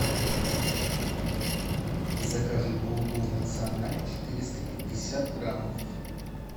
закажи булгур националь четыреста пятьдесят граммов